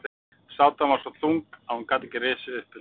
Sátan var svo þung að hún gat ekki risið upp undan henni.